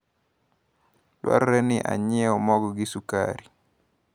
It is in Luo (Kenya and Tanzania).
Dwarore ni anyiewu mogo gi sukari.